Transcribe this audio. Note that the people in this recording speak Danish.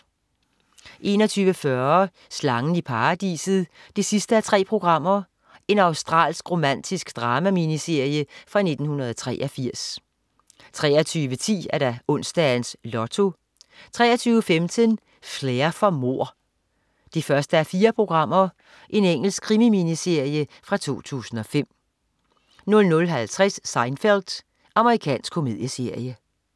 21.40 Slangen i Paradiset 3:3. Australsk romantisk drama-miniserie fra 1983 23.10 Onsdags Lotto 23.15 Flair for mord 1:4. Engelsk krimi-miniserie fra 2005 00.50 Seinfeld. Amerikansk komedieserie